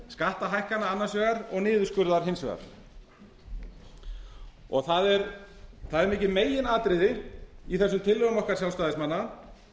skattahækkana annars vegar og niðurskurðar hins vegar það er mikið megin atriði í þessum tillögum okkar sjálfstæðismanna